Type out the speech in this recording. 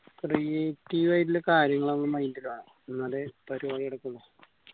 creative ആയിട്ടില്ലേ കാര്യങ്ങള് നമ്മളെ mind ൽ വേണം എന്നാലേ പരുവാടി നടക്കുള്ളൂ